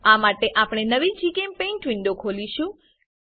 આ માટે આપણે નવી જીચેમ્પેઇન્ટ વિન્ડો ખોલીશું